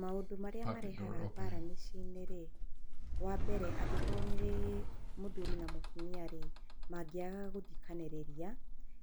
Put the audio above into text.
Maũndũ marĩa marehaga mbara mĩciĩ-inĩ rĩ, wambere angĩkorwo nĩ mũthuri na mũtumia rĩ mangĩaga gũthikanĩrĩria,